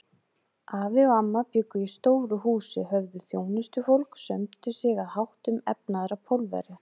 Afi og amma bjuggu í stóru húsi, höfðu þjónustufólk, sömdu sig að háttum efnaðra Pólverja.